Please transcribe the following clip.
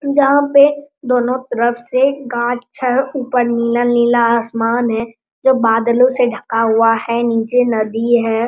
जहाँ पे दोनों तरफ से गाछ है ऊपर नीला आसमान है जो बादलों से ढका हुआ है नीचे नदी है।